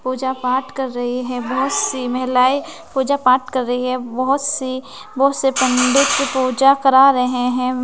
पूजा पाठ कर रही है बहुत सी महिलाएँ पूजा पाठ कर रही है बहुत सी बहुत से पण्डित पूजा करा रहे हैं।